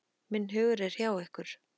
Minn hugur er hjá ykkur.